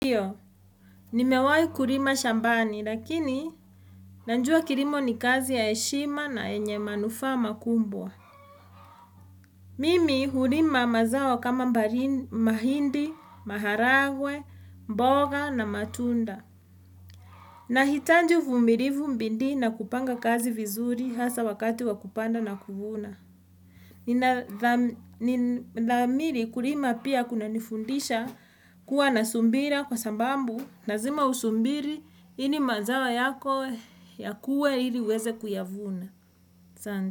Nimewah kulima shambani lakini Najua kilimo ni kazi ya heshima na yenye manufaa makubwa Mimi hulima mazao kama mahindi, maharagwe, mboga na matunda Nahitaji uvumilivu bidii na kupanga kazi vizuri hasa wakati wa kupanda na kuvuna Nidhamiri kulima pia kunanifundisha kuwa na subira kwa sababu lazima usubiri, ili mazao yako yakuwe ili uweze kuyavuna.